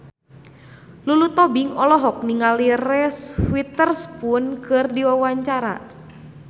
Lulu Tobing olohok ningali Reese Witherspoon keur diwawancara